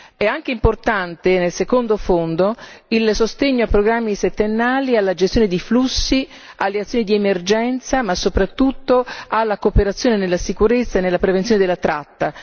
È anche importante nel secondo fondo il sostegno a programmi settennali, alla gestione di flussi, alle azioni di emergenza, ma soprattutto alla cooperazione nella sicurezza e nella prevenzione della tratta.